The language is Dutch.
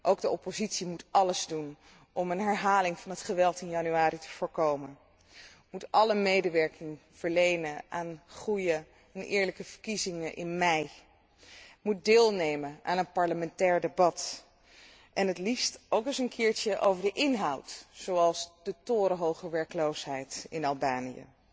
Ook zij moet alles doen om een herhaling van het geweld in januari te voorkomen, door alle medewerking te verlenen aan goede en eerlijke verkiezingen in mei, door deel te nemen aan een parlementair debat, het liefst ook eens een keertje over de inhoud, zoals de torenhoge werkloosheid in Albanië.